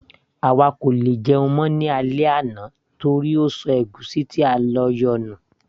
àwa kò lè jẹun mọ́ ní alẹ́ àná torí ó ṣọ ègúsí ti a yóò lò ní